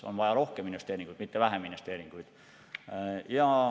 On vaja rohkem investeeringuid, mitte vähem investeeringuid.